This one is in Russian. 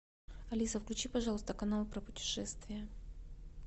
алиса включи пожалуйста канал про путешествия